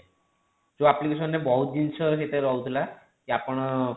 ଯେଉଁ application ରେ ବହୁତ ଜିନିଷ ଯେତେବେଳେ ରହୁଥିଲା କି ଆପଣ